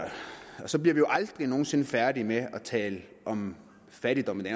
og så bliver vi jo aldrig nogen sinde færdige med at tale om fattigdom i